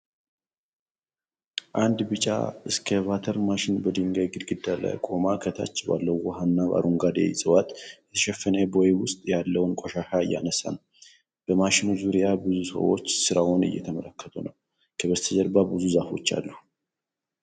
አንድ ቢጫ ኤክስካቫተር/ማሽን በድንጋይ ግድግዳ ላይ ቆሞ ከታች ባለው ውሃ እና በአረንጓዴ ዕፅዋት የተሸፈነ ቦይ ውስጥ ያለውን ቆሻሻ እያነሳ ነው። በማሽኑ ዙሪያ ብዙ ሰዎች ሥራውን እየተመለከቱ ነው። ከበስተጀርባ ብዙ ዛፎች አሉ።